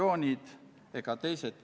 Menetluslikud otsused.